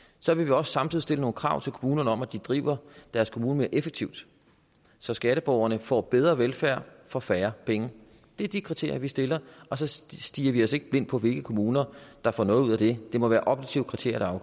så vil vi også samtidig stille nogle krav til kommunerne om at de driver deres kommune mere effektivt så skatteborgerne får bedre velfærd for færre penge det er de kriterier vi stiller og så stirrer vi os ikke blind på hvilke kommuner der får noget ud af det det må være objektive kriterier